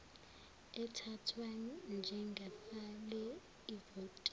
athathwa njengafake ivoti